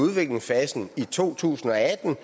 udviklingsfasen i to tusind og atten